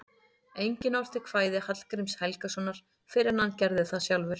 Enginn orti kvæði Hallgríms Helgasonar fyrr en hann gerði það sjálfur.